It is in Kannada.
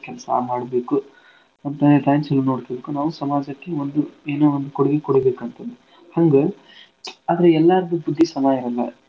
ಕೆಲ್ಸಾ ಮಾಡ್ಬೇಕು ನಮ್ time ನಾವೂ ಸಮಾಜಕ್ಕೆ ಒಂದು ಏನೋ ಒಂದ್ ಕೊಡ್ಗೆ ಕೊಡ್ಬೇಕ್ ಅಂತಂದ. ಹಾ ನಾವೂ ಸಮಾಜಕ್ಕೆ ಒಂದು ಏನೋ ಒಂದ್ ಕೊಡ್ಗೆ ಕೊಡ್ಬೇಕ್ ಅಂತಂದ. ಹಂಗ ಆದ್ರ ಎಲ್ಲಾರ್ದೂ ಬುದ್ದಿ ಸಮಾ ಇರಲ್ಲಾ.